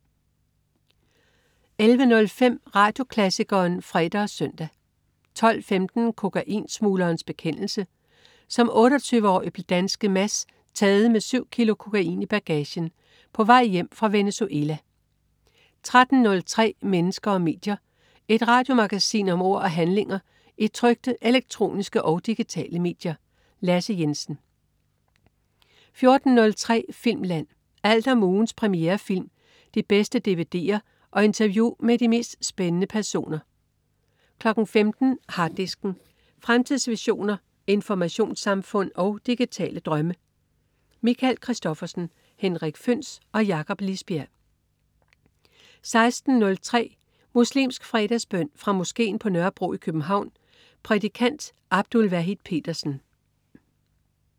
11.05 Radioklassikeren (fre og søn) 12.15 Kokainsmuglerens bekendelse,. Som 28-årig blev danske Mads taget med syv kilo kokain i bagagen på vej hjem fra Venezuela 13.03 Mennesker og medier. Et radiomagasin om ord og handlinger i trykte, elektroniske og digitale medier. Lasse Jensen 14.03 Filmland. Alt om ugens premierefilm, de bedste dvd'er og interview med de mest spændende personer 15.00 Harddisken. Fremtidsvisioner, informationssamfund og digitale drømme. Michael Christophersen, Henrik Føhns og Jakob Lisbjerg 16.03 Muslimsk fredagsbøn. Fra moskeen på Nørrebro i København. Prædikant: Abdul Wahid Petersen